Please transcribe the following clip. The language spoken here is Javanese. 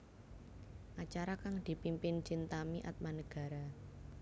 Acara kang dipimpin Chintami Atmanegara